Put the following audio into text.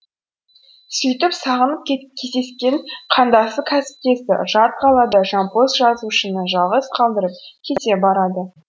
сөйтіп сағынып кездескен қандасы кәсіптесі жат қалада жампоз жазушыны жалғыз қалдырып кете барады